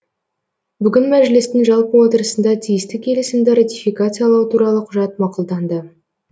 бүгін мәжілістің жалпы отырысында тиісті келісімді ратификациялау туралы құжат мақұлданды